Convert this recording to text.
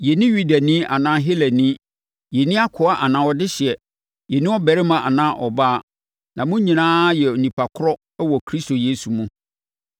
Yɛnni Yudani anaa Helani, yɛnni akoa anaa ɔdehyeɛ, yɛnni ɔbarima anaa ɔbaa, na mo nyinaa yɛ onipa korɔ wɔ Kristo Yesu mu.